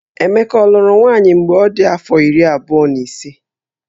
Emeka ọ lụrụ nwaanyị mgbe ọ dị afọ iri abụọ na ise?